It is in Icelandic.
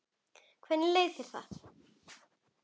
Hvernig leið þér með það?